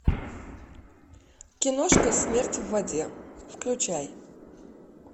киношка смерть в воде включай